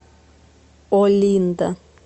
олинда